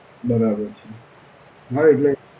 બરાબર છે. હાં એટલે